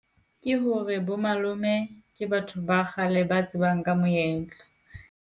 Ke hore bo malome ke batho ba kgale ba tsebang ka moetlo.